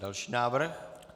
Další návrh.